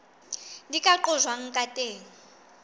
di ka qojwang ka teng